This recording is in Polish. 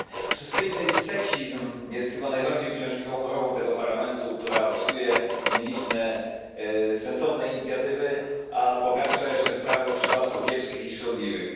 Panie Przewodniczący! Obsesyjny seksizm jest chyba najbardziej uciążliwą chorobą tego Parlamentu, która psuje nieliczne sensowne inicjatywy, a pogarsza jeszcze sprawę w przypadku kiepskich i szkodliwych.